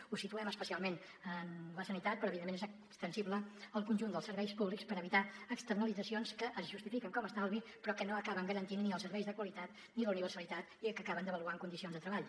ho situem especialment en la sanitat però evidentment és ex·tensible al conjunt dels serveis públics per evitar externalitzacions que es justifiquen com a estalvi però que no acaben garantint ni els serveis de qualitat ni la universali·tat i que acaben devaluant condicions de treball